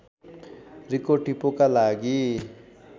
रिको टिपोका लागि